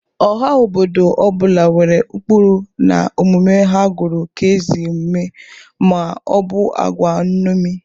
Ọha obọdụ ọ bụla nwere ụkpụrụ na omume ha gụrụ ka ezi omume ma ọ bụ agwa nṅomi..